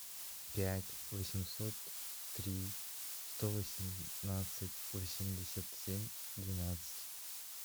пять восемьсот три сто восемнадцать восемьдесят семь двенадцать